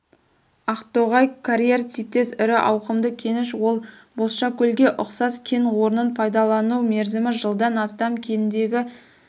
ақтоғай карьер типтес ірі ауқымды кеніш ол бозшакөлге ұқсас кен орнын пайдалану мерзімі жылдан астам кендегі